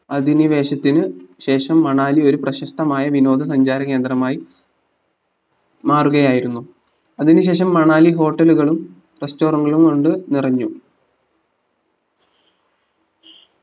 അധിനിവേശത്തിന് ശേഷം മണാലി ഒരു പ്രശസ്തമായ വിനോദ സഞ്ചാരകേന്ദ്രമായി മാറുകയായിരുന്നു അതിന് ശേഷം മണാലി hotel കളും restaurant കളും കൊണ്ട് നിറഞ്ഞു